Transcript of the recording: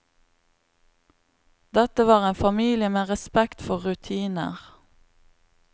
Dette var en familie med respekt for rutiner.